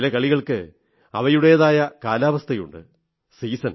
ചില കളികൾക്ക് അവയുടേതായ കാലാവസ്ഥയുണ്ട് സീസൺ